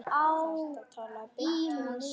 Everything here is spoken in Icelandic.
Þetta talaði beint til mín.